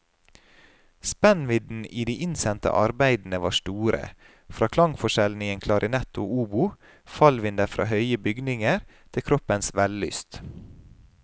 Spennvidden i de innsendte arbeidene var store, fra klangforskjellen i en klarinett og obo, fallvinder fra høye bygninger, til kroppens vellyst.